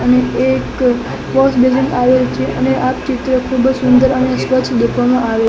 અને એક વોશબેસિન આવેલી છે અને આ ચિત્ર ખૂબજ સુંદર અને સ્વચ્છ દેખાવામાં આવે--